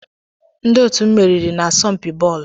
Ndị otu m meriri n'asọmpi bọọlụ.